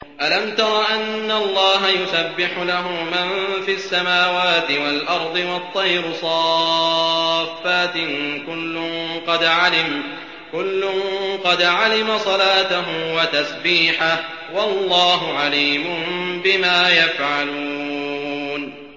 أَلَمْ تَرَ أَنَّ اللَّهَ يُسَبِّحُ لَهُ مَن فِي السَّمَاوَاتِ وَالْأَرْضِ وَالطَّيْرُ صَافَّاتٍ ۖ كُلٌّ قَدْ عَلِمَ صَلَاتَهُ وَتَسْبِيحَهُ ۗ وَاللَّهُ عَلِيمٌ بِمَا يَفْعَلُونَ